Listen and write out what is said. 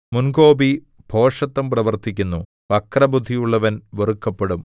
മുൻകോപി ഭോഷത്തം പ്രവർത്തിക്കുന്നു വക്രബുദ്ധിയുള്ളവന്‍ വെറുക്കപ്പെടും